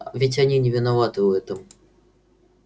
ведь они не виноваты в этом